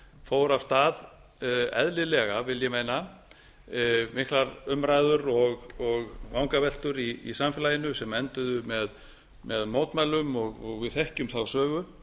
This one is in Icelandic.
fór af stað eðlilega vil ég meina miklar umræður og vangaveltur í samfélaginu sem enduðu með mótmælum við þekkjum þá sögu